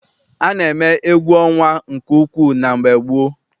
A na-eme egwu ọnwa nke ukwu na mgbe gboo.